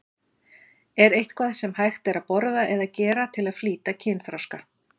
Er eitthvað sem hægt er að borða eða gera til að flýta kynþroska?